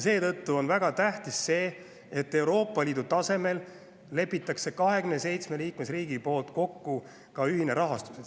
Seetõttu on väga tähtis see, et Euroopa Liidu tasemel lepitaks 27 liikmesriigi poolt kokku ühine rahastus.